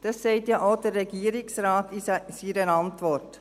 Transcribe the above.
dies sagt ja auch der Regierungsrat in seiner Antwort.